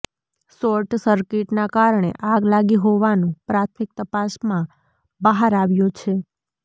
short સર્કિટના કારણે આગ લાગી હોવાનુ પ્રાથમીક તપાસમાં બહાર આવ્યુ છે